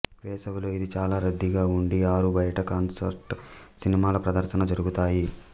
వేసవిలో ఇది చాలా రద్దీగా ఉండి ఆరు బయట కాన్సర్ట్స్ సినిమాల ప్రదర్శన జరుగుతాయి